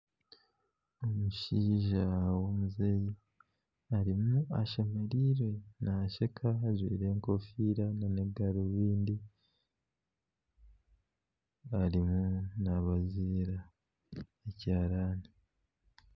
Omushaija w'omuzeeyi arimu ashemereirwe nasheka ajwaire enkofiira na garubindi arimu nabaziira ekiharani